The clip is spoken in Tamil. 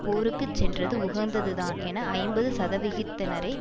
போருக்கு சென்றது உகந்ததுதான் என ஐம்பது சதவிகிதத்தினரே